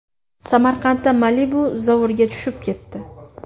Samarqandda Malibu zovurga tushib ketdi.